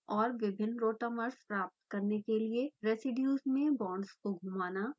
और विभिन्न rotamers प्राप्त करने के लिए रेसीड्यूज़ में बांड्स को घुमाना